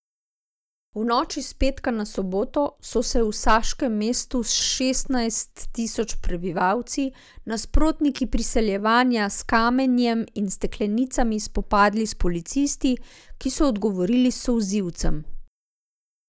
V noči s petka na soboto so se v saškem mestu s šestnajst tisoč prebivalci nasprotniki priseljevanja s kamenjem in steklenicami spopadli s policisti, ki so odgovorili s solzivcem.